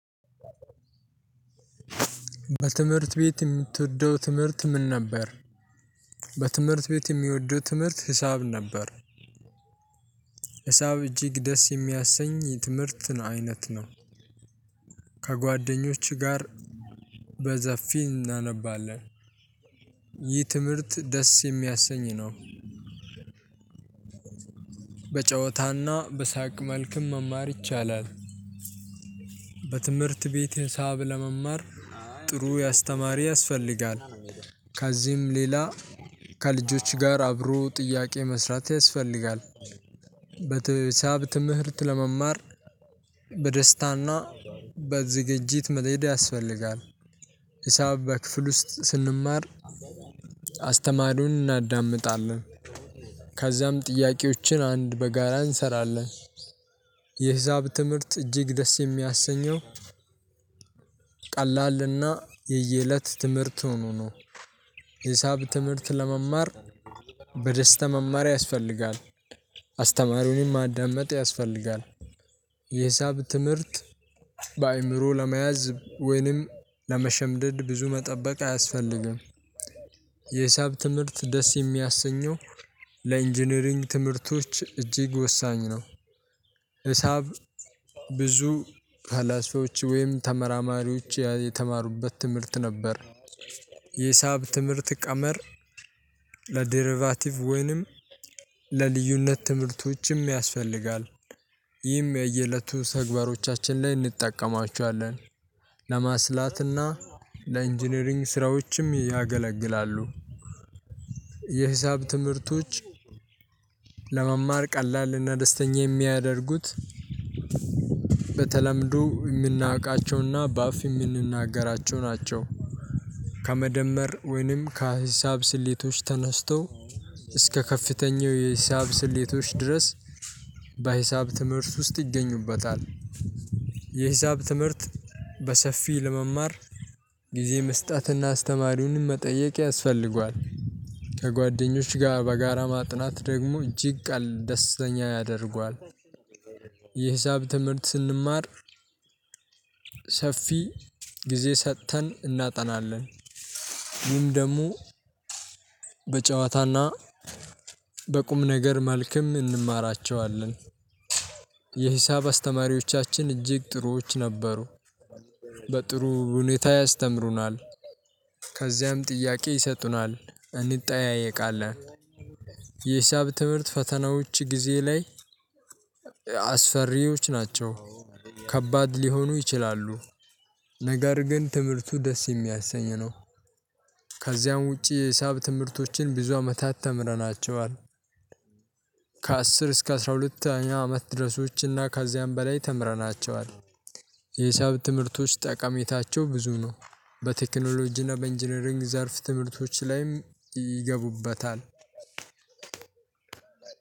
በትምህርት ቤት የምትወደው ትምህርት ምን ነበር? በትምህርት ቤት የምወደው ትምህርት ሂሳብ ነበር። ሂሳብ እጅግ ደስ የሚያሰኝ የትምህርት አይነት ነው። ከጓደኞችህ ጋር በሰፊ እናነባለን። ይህ ትምህርት ደስ የሚያሰኝ ነው። በጨዋታና በሳቅ መልክም መማር ይቻላል። በትምህርት ቤት ሂሳብ ለመማር ጥሩ አስተማሪ ያስፈልጋል። ከዚህም ሌላ ከልጆች ጋር አብሮ ጥያቄ መስራት ያስፈልጋል። በተ ሂሳብ ትምህርት ለመማር በደስታና በዝግጅት መሄድ ያስፈልጋል። ሂሳብ በክፍል ውስጥ ስንማር አስተማሪውን እናዳምጣለን ከዛም ጥያቄዎችን አንድ በጋራ እንሰራለን። የሂሳብ ትምህርት እጅግ ደስ የሚያሰኘው ቀላልና የየእለት ትምህርት ሆኖ ነው። ሂሳብ ትምህርት ለመማር በደስታ መማር ያስፈልጋል አስተማሪውንም ማዳመጥ ያስፈልጋል። የሂሳብ ትምህርት በአእምሮ ለመያዝ ወይንም ለመሸምደድ ብዙ መጠበቅ አያስፈልግም። የሂሳብ ትምህርት ደስ የሚያሰኘው ለኢንጂነሪንግ ትምህርቶች እጅግ ወሳኝ ነው። ሂሳብ ብዙ ፈላስፎች ወይም ተመራማሪዎች ያ የተማሩበት ትምህርት ነበር። የሂሳብ ትምህርት ቀመር ለዴሪቫቲቭ ወይንም ለልዩነት ትምህርቶችም ያስፈልጋል። ይህም የየእለቱ ተግባሮቻችን ላይ እንጠቀማቸዋለን ለማስላትና ለኢንጂነሪንግ ስራዎችም ያገለግላሉ። የሂሳብ ትምህርቶች ለመማር ቀላልና ደስተኛ የሚያደርጉት በተለምዶ የምናውቃቸውና በአፍ የምንናገራቸው ናቸው። ከመደመር ወይንም ከሂሳብ ስሌቶች ተነስተው እስከ ከፍተኛው የሂሳብ ስሌቶች ድረስ በሂሳብ ትምህርት ውስጥ ይገኙበታል። የሂሳብ ትምህርት በሰፊ ለመማር ጊዜ መስጠትና አስተማሪውን መጠየቅ ያስፈልገዋል። ከጓደኞች ጋር በጋራ ማጥናት ደግሞ እጅግ ቀል ደስተኛ ያደርጓል። የሂሳብ ትምህርት ስንማር ሰፊ ጊዜ ሰጥተን እናጠናለን። ይህም ደግሞ በጨዋታና በቁም ነገር መልክም እንማራቸዋለን። የሂሳብ አስተማሪዎቻችን እጅግ ጥሩዎች ነበሩ። በጥሩ ሁኔታ ያስተምሩናል ከዚያም ጥያቄ ይሰጡናል እንጠያየቃለን። የሂሳብ ትምህርት ፈተናዎች ጊዜ ላይ አስፈሪዎች ናቸው። ከባድ ሊሆኑ ይችላሉ። ነገር ግን ትምህርቱ ደስ የሚያሰኝ ነው። ከዚያም ውጪ የሂሳብ ትምህርቶችን ብዙ አመታት ተምረናቸዋል። ከአስር እስከ አስራ ሁለተኛው አመት ድረሶች እና ከዚያም በላይ ተምረናቸዋል። የሂሳብ ትምህርቶች ጠቃሜታቸው ብዙ ነው። በቴክኖሎጂ እና በ ኢንጂነሪንግ ዘርፍ ትምህርቶች ላይም ይገቡበታል።